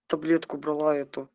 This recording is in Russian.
таблетку брала эту